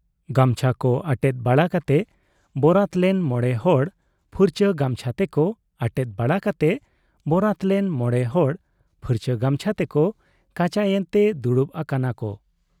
ᱜᱟᱢᱪᱷᱟ ᱠᱚ ᱟᱴᱮᱫ ᱵᱟᱲᱟ ᱠᱟᱛᱮ ᱵᱯᱨᱟᱛ ᱞᱮᱱ ᱢᱚᱬᱮ ᱦᱚᱲ ᱯᱷᱩᱨᱪᱟᱹ ᱜᱟᱢᱪᱷᱟ ᱛᱮᱠᱚ ᱟᱴᱮᱫ ᱵᱟᱲᱟ ᱠᱟᱛᱮ ᱵᱚᱨᱟᱛ ᱞᱮᱱ ᱢᱚᱬᱮ ᱦᱚᱲ ᱯᱷᱩᱨᱪᱟᱹ ᱜᱟᱢᱪᱷᱟ ᱛᱮᱠᱚ ᱠᱟᱪᱟᱭᱮᱱᱛᱮ ᱫᱩᱲᱩᱵ ᱟᱠᱟᱱᱟ ᱠᱚ ᱾